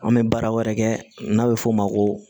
An bɛ baara wɛrɛ kɛ n'a bɛ f'o ma ko